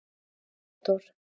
Theódór